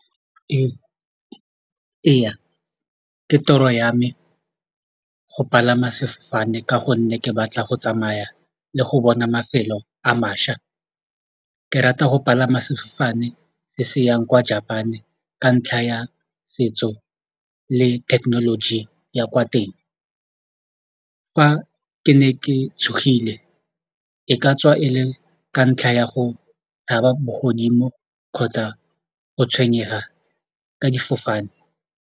Ee, ke toro ya me go palama sefofane ka gonne ke batla go tsamaya le go bona mafelo a mašwa, ke rata go palama sefofane se se yang kwa Japan-e ka ntlha ya setso le thekenoloji ya kwa teng fa ke ne ke tshogile e ka tswa e le ka ntlha ya go tshaba bogodimo kgotsa go tshwenyega ka difofane.